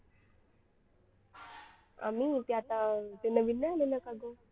आम्ही ते आता ते नवीन नाही आलेलं का ग